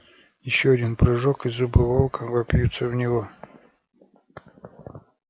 ещё один прыжок и зубы волка вопьются в него